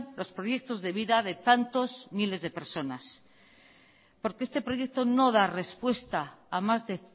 los proyectos de vida de tantos miles de personas porque este proyecto no da respuesta a más de